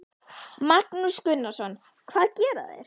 Magnús Gunnarsson: Hvað gera þeir?